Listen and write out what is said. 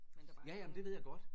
Men der er bare ikke nogen